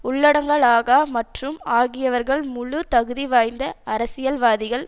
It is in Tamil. உள்ளடங்கலாக மற்றும் ஆகியவர்கள் முழு தகுதி வாய்ந்த அரசியல் வாதிகள்